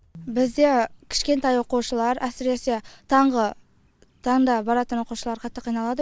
бізде кішкентай оқушылар әсіресе таңғы таңда баратын оқушылар қатты қиналады